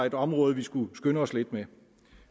et område vi skulle skynde os lidt med